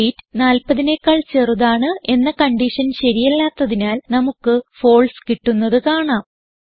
weight 40നെക്കാൾ ചെറുതാണ് എന്ന കൺഡിഷൻ ശരിയല്ലാത്തതിനാൽ നമുക്ക് ഫാൽസെ കിട്ടുന്നത് കാണാം